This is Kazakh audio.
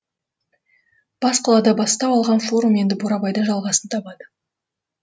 бас қалада бастау алған форум енді бурабайда жалғасын табады